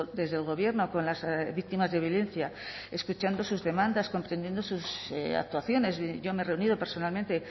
desde el gobierno con las víctimas de violencia escuchando sus demandas comprendiendo sus actuaciones yo me he reunido personalmente